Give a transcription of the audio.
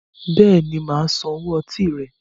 Béèni máa San owó ọtí rẹ